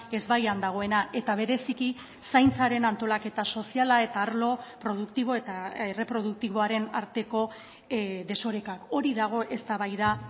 ezbaian dagoena eta bereziki zaintzaren antolaketa soziala eta arlo produktibo eta erreproduktiboaren arteko desorekak hori dago eztabaida